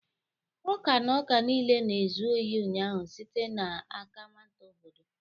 ọka na ọka niile na-ezu ohi ụnyaahụ site n'aka nwata obodo